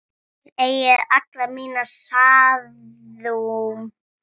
Þið eigið alla mína samúð.